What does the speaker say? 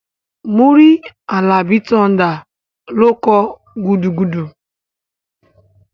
Múrí Àlàbí Thunder ló kọ "gudugudu"